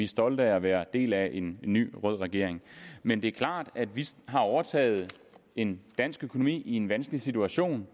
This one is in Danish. stolte af at være del af en ny rød regering men det er klart at vi har overtaget en dansk økonomi der er i en vanskelig situation